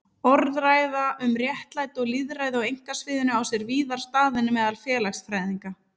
Orðræða um réttlæti og lýðræði á einkasviðinu á sér víðar stað en meðal félagsfræðinga.